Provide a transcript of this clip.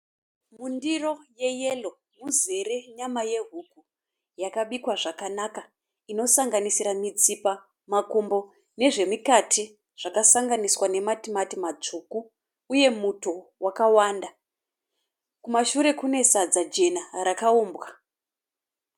Mundiro yeyero muzere nyama yehuku. Yakabikwa zvakanaka. Inosanganisira mitsipa, makumbo nezvemukati zvakasanganiswa nematimati matsvuku, uye muto wakawanda. Kumashure kune sadza jena rakumbwa.